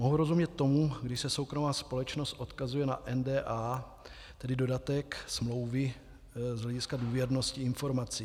Mohu rozumět tomu, když se soukromá společnost odkazuje na NDA, tedy dodatek smlouvy z hlediska důvěrnosti informací.